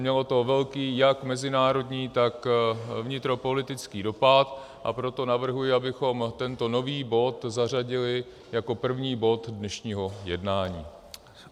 Mělo to velký jak mezinárodní, tak vnitropolitický dopad, a proto navrhuji, abychom tento nový bod zařadili jako první bod dnešního jednání.